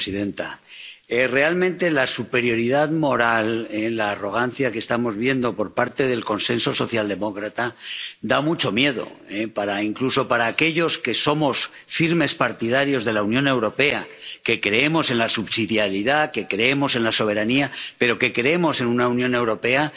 Señora presidenta, realmente la superioridad moral, la arrogancia que estamos viendo por parte del consenso socialdemócrata da mucho miedo, incluso a aquellos que somos firmes partidarios de la Unión Europea, que creemos en la subsidiariedad, que creemos en la soberanía, pero que creemos en una Unión Europea.